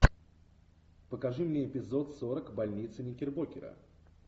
покажи мне эпизод сорок больница никербокера